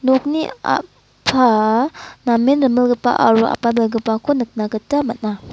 nokni a·pa namen rimilgipa aro apalbegipako nikna gita man·a.